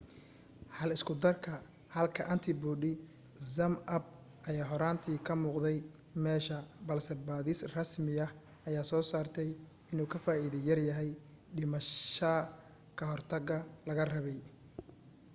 hal isku darka halka antibody zmapp ayaa horaantii ka muuqday meesha balse baadhis rasmiya ayaa soo saartay inuu ka faaiido yar yahay dhimasha ka hortaga laga rabay